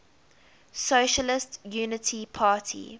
socialist unity party